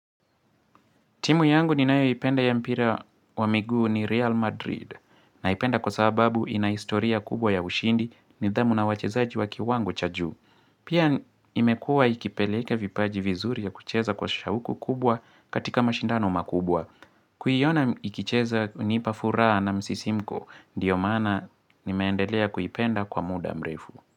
Timu yangu ninayoipenda ya mpira wa miguu ni Real Madrid. Naipenda kwa sababu ina historia kubwa ya ushindi nidhamu na wachezaji wa kiwango cha juu. Pia imekua ikipeleke vipaji vizuri ya kucheza kwa shauku kubwa katika mashindano makubwa. Kuiona ikicheza hunipa furaha na msisimko ndiyo maana nimeendelea kuipenda kwa muda mrefu.